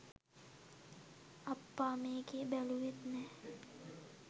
අප්පා මේකේ බැලුවෙත් නැ